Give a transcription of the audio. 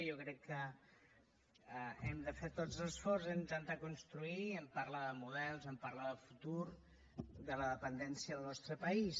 jo crec que hem de fer tots l’esforç d’intentar construir en parlar de models en parlar de futur de la dependència al nostre país